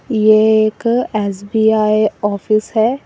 ये एक SBI office है।